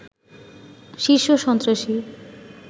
শীর্ষ সন্ত্রাসী